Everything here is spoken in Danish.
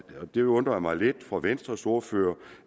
og det undrer mig lidt fra venstres ordfører